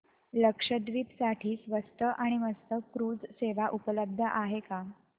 लक्षद्वीप साठी स्वस्त आणि मस्त क्रुझ सेवा उपलब्ध आहे का